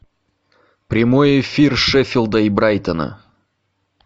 прямой эфир шеффилда и брайтона